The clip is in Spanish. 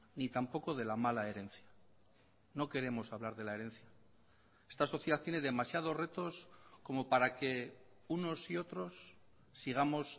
ni tampoco de la mala herencia no queremos hablar de la herencia esta sociedad tiene demasiados retos como para que unos y otros sigamos